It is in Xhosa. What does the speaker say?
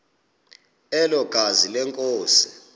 elo gazi lenkosi